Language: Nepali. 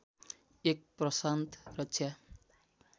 एक प्रशान्त रक्षा